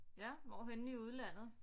Ja hvorhenne i udlandet